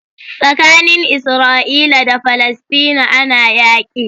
Tsakanin Isra'ila da falestine ana yaƙi.